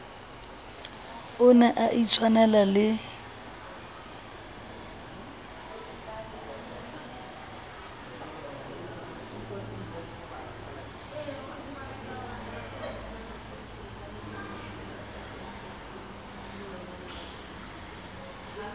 o ne a itshwanela le